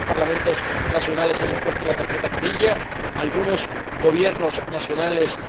Algunos Parlamentos nacionales han impuesto la tarjeta amarilla y algunos Gobiernos nacionales